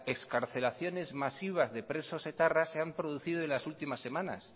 excarcelaciones masivas de presos etarras se han producido en las últimas semanas